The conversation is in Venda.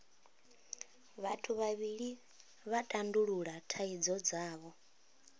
vhathu vhavhili vha tandulula thaidzo dzavho